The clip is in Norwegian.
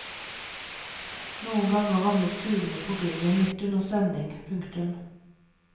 Noen ganger ramlet kulene på gulvet midt under sending. punktum